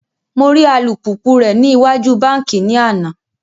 Mo ri alupupu rẹ ni iwaju banki ni ana